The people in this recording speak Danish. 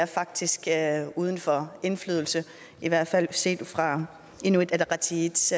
faktisk er uden for indflydelse i hvert fald set fra inuit ataqatigiits